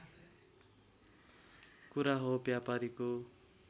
कुरा हो व्यापारीको